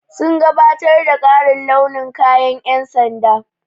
Sun gabatar da ƙarin launin kayan ƴan sanda.